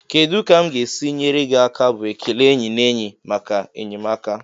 "Kedu ka m ga-esi nyere gị aka?" bụ ekele enyi na enyi maka enyemaka.